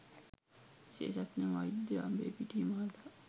විශේෂඥ වෛද්‍ය අඹේපිටිය මහතා